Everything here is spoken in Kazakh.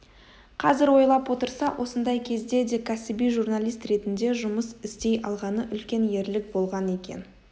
қазір ойлап отырса осындай кезде де кәсіби журналист ретінде жұмыс істей алғаны үлкен ерлік болған екен